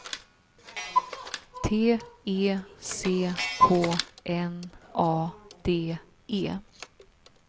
T E C K N A D E